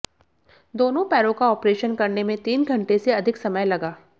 दोनों पैरों का आॅपरेशन करने में तीन घंटे से अधिक समय लगा